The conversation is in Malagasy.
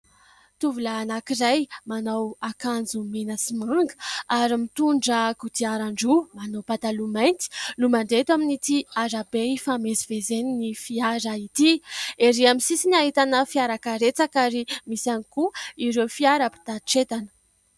Tovolahy anankiray manao akanjo mena sy manga ary mitondra kodiaran-droa, manao pataloha mainty no mandeha eto amin'ny arabe hifamezivezen'ny fiara ity. Ery amin'ny sisiny ahitana fiara karetsaka ary misy ihany koa ireo fiara mpitatitra entana.